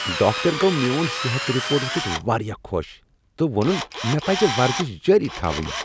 Doctor گو مِیون صحت رپورٹ وُچھِتھ وارِیاہ خو٘ش تہٕ ووٚنٗن مےٚ پزِ ورزِش جٲری تھاوٕنۍ ۔